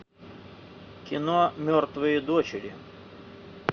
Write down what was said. кино мертвые дочери